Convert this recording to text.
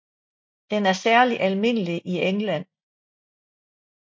Den er særlig almindelig i England